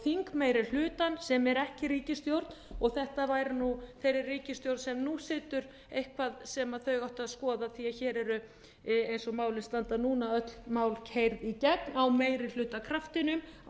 þingmeirihlutann sem er ekki í ríkisstjórn og þetta væri nú þeirri ríkisstjórn sem nú situr eitthvað sem ættu að skoða því hér eru eins og málin standa núna öll mál keyrð í gegn á meirihlutakraftinum á